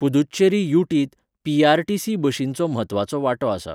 पुदुच्चेरी यू.टी.त पी.आर.टी.सी. बशींचो म्हत्वाचो वांटो आसा